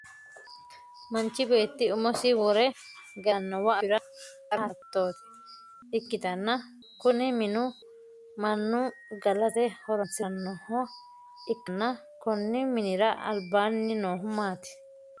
Manchi beeti umosi wore galanowa afira qara hasattosi ikitanna kunni minu mannu galate horoonsiranoha ikanna konni minnira albaanni noohu maati?